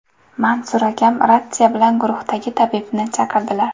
Mansur akam, ratsiya bilan guruhdagi tabibni chaqirdilar.